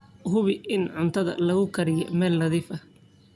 Hubi in cuntada lagu kaydiyo meel nadiif ah.